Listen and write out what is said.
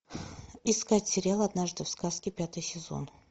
искать сериал однажды в сказке пятый сезон